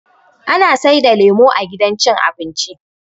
Ana saida lemo a gidan cin abinci